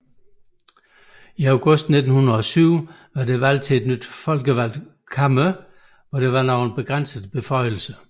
I august 1907 foretoges valg til et nyt folkevalgt kammer med begrænset beføjelse